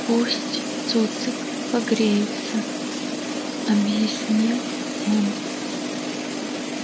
пусть цуцик погреется объяснил он